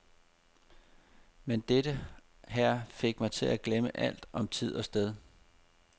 Men dette her fik mig til at glemme alt om tid og sted.